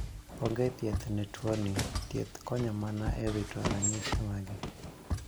onge thieth ne tuo ni, thieth konyo mana e wito ranyisi mage